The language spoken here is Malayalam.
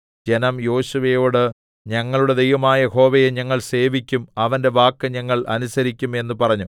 ജനം യോശുവയോട് ഞങ്ങളുടെ ദൈവമായ യഹോവയെ ഞങ്ങൾ സേവിക്കും അവന്റെ വാക്കു ഞങ്ങൾ അനുസരിക്കും എന്ന് പറഞ്ഞു